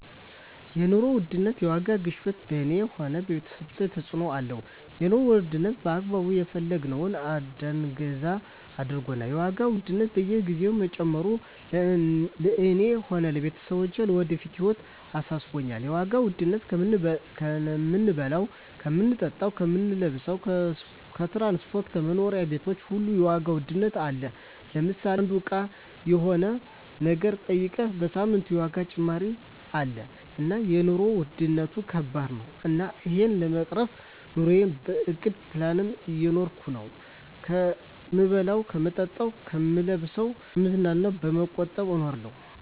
የኑሮ ውድነት የዋጋ ግሽበት በኔ ሆነ በቤተሰቦቻችን ተጽእኖ አለው የኑሮ ዉድነቱ በአግባቡ የፈለግነውን እዳንገዛ አርጎናል የዋጋ ውድነት በየግዜው መጨመሩ ለእኔ ሆነ ለቤተሰቦቸ ለወደፊት ህይወታችን አሳስቦኛል የዋጋ ዉድነቱ ከምንበላው ከምንጠጣው ከምንለብሰው ከትራንስፖርት ከመኖሪያ ቤቶች ሁሉ የዋጋ ውድነት አለ ለምሳሌ አንዱ እቃ ሆነ የሆነ ነገር ጠይቀ በሳምንት የዋጋ ጭማሪ አለ እና የኖሩ ዉድነት ከባድ ነው እና እሄን ለመቅረፍ ኑረየን በእቅድ በፕላን እየኖርኩ ነው ከምበላው ከምጠጣ ከምለብሰው ከምዝናናው በመቆጠብ እኖራለሁ